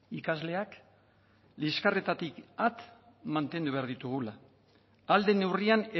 ikasleak liskarretatik at mantendu behar ditugula ahal den neurrian